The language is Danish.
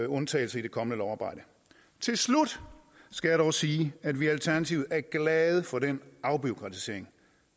undtagelser i det kommende lovarbejde til slut skal jeg dog sige at vi i alternativet er glade for den afbureaukratisering